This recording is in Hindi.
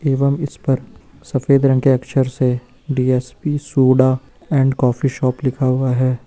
एवं इस पर सफेद रंग के अक्षर से DSP soda and coffee shop लिखा हुआ है।